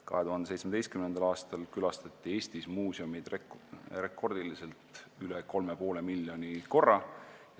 2007. aastal külastati Eestis muuseume rekordiliselt üle 3,5 miljoni korra.